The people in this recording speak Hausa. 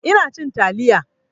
Ina cin taliya